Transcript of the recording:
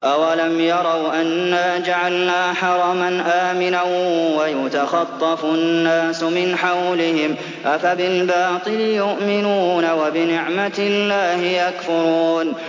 أَوَلَمْ يَرَوْا أَنَّا جَعَلْنَا حَرَمًا آمِنًا وَيُتَخَطَّفُ النَّاسُ مِنْ حَوْلِهِمْ ۚ أَفَبِالْبَاطِلِ يُؤْمِنُونَ وَبِنِعْمَةِ اللَّهِ يَكْفُرُونَ